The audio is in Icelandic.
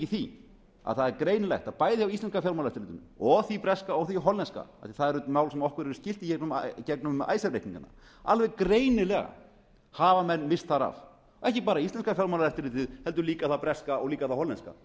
því að það er greinilegt að bæði á íslenska fjármálaeftirlitinu og því breska og því hollenska af því að það eru mál sem okkur eru skyld í gegnum icesave reikningana alveg greinilega hafa menn ekki bara íslenska fjármálaeftirlitið heldur líka það breska og það hollenska og það